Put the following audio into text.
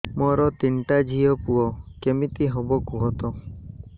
ମୋର ତିନିଟା ଝିଅ ପୁଅ କେମିତି ହବ କୁହତ